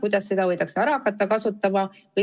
Kuidas seda võidakse hakata ära kasutama?